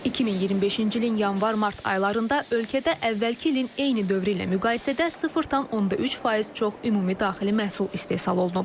2025-ci ilin yanvar-mart aylarında ölkədə əvvəlki ilin eyni dövrü ilə müqayisədə 0,3% çox ümumi daxili məhsul istehsal olunub.